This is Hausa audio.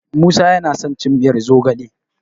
Musa yana son cin miyar zogale.